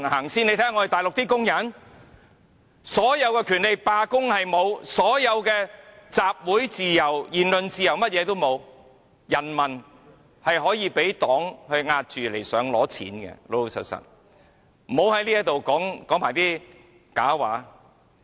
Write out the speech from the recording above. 但是，看看大陸的工人，所有的權利也沒有，不能罷工，沒有集會自由、言論自由，人民是可以被黨壓着來要錢的，不要在這裏說假話。